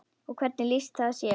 Og hvernig lýsti það sér?